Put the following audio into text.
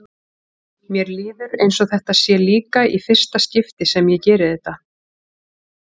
Mér líður eins og þetta sé líka í fyrsta skipti sem ég geri þetta.